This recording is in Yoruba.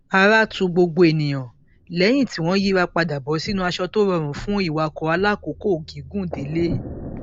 ara tu gbogbo ènìyàn lẹyìn tí wọn yíra padà bọ sínú aṣọ tó rọrùn fún ìwakọ alákòókò gígùn délé